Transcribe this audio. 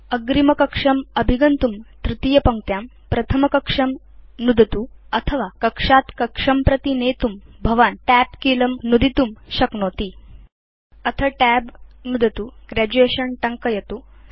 अग्रिमकक्षम् अभिगन्तुं तृतीयपङ्क्त्यां प्रथमकक्षं नुदतुअथवा कक्षात् कक्षं प्रति नेतुं भवान् TAB कीलं नुदितुं शक्नोति अथ TAB नुदतु Graduation टङ्कयतु